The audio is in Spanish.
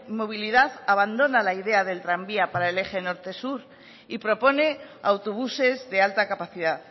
movilidad abandona la idea del tranvía para el eje norte sur y propone autobuses de alta capacidad